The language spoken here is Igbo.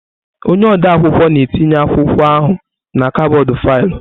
Onye ode akwụkwọ na-etinye akwụkwọ ahụ na kọbọd faịlụ.